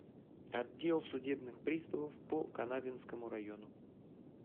отдел судебных приставов по канавинскому району